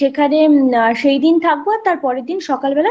সেখানে সেইদিন থাকবো আর তারপরের দিন সকালবেলা